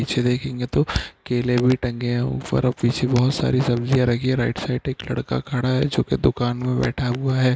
पीछे देखेंगे तो केले भी टंगे है ऊपर और पीछे बोहोत सारी सब्जियाँ भी रखी है राइट साइड में एक लड़का खड़ा है जो की दुकान में बैठा हुआ है।